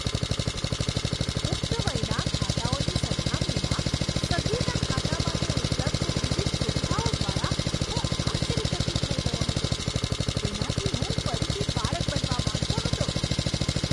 પુખ્ત વયના ખાતાઓની સરખામણીમાં સગીરના ખાતા માટે ઉપલબ્ધ વિવિધ સુવિધાઓ દ્વારા હું આશ્ચર્યચકિત થઈ ગયો હતો. તેનાથી હું ફરીથી બાળક બનવા માંગતો હતો.